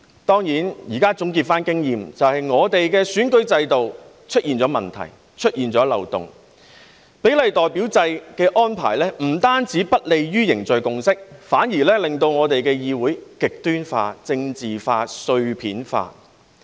當然，現在總結經驗，便是香港的選舉制度出現了問題和漏洞，比例代表制的安排不單不利於凝聚共識，反而令我們的議會極端化、政治化、碎片化。